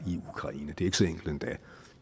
ikke så enkelt endda